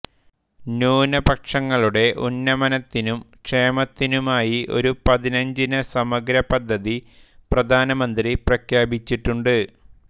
ന്യൂനപക്ഷങ്ങളുടേ ഉന്നമനത്തിനും ക്ഷേമത്തിനുമായി ഒരു പതിനഞ്ചിന സമഗ്ര പദ്ധതി പ്രധാനമന്ത്രി പ്രഖ്യാപിച്ചിട്ടുണ്ട്